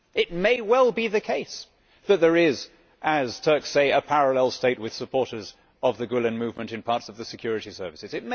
It may well be the case that there is, as Turks say, a parallel state, with supporters of the Gülen movement in parts of the security services.